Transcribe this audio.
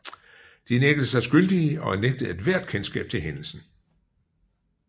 De nægtede sig skyldige og nægtede ethvert kendskab til hændelsen